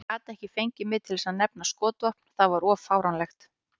Ég gat ekki fengið mig til að nefna skotvopn, það var of fáránlegt.